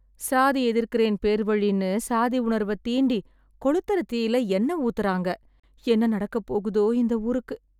சாதி எதிர்க்கறேன் பேர்வழினு சாதி உணர்வ தீண்டி கொளுத்தற தீல எண்ண ஊத்தறாங்க! என்ன நடக்கப்போகுதோ இந்த ஊருக்கு